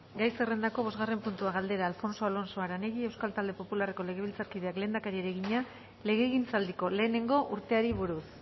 gai zerrendako bosgarren puntua galdera alfonso alonso aranegui euskal talde popularreko legebiltzarkideak lehendakariari egina legegintzaldiko lehenengo urteari buruz